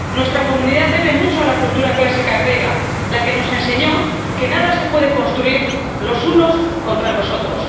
Nuestra comunidad debe mucho a la cultura clásica griega, la que nos enseñó que nada se puede construir los unos contra los otros.